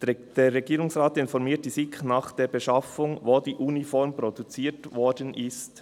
«Der Regierungsrat informiert die SiK nach der Beschaffung, wo die Uniform produziert worden ist.